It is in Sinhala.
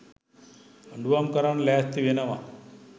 දඬුවම් කරන්න ලෑස්ති වෙනව.